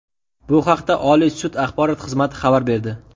Bu haqda Oliy sud axborot xizmati xabar berdi .